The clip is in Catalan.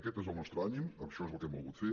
aquest és el nostre ànim això és el que hem volgut fer